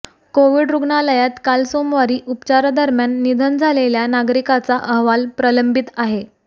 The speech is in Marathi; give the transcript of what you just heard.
कोविड रूग्णालयात काल सोमवारी उपचारादरम्यान निधन झालेल्या नागरिकाचा अहवाल प्रलंबित आहे